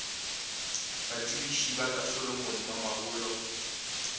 batsebiši ba ka solomon mamabolo